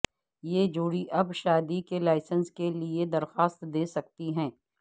یہ جوڑی اب شادی کے لائسنس کے لئے درخواست دے سکتی ہے